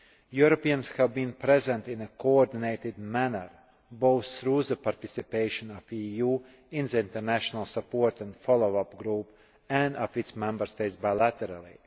Europeans have been present in a coordinated manner, both through the participation of the EU in the International Support and Follow up Group', and of its Member States bilaterally.